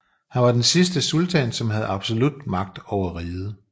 Han var den sidste sultan som havde absolut magt over riget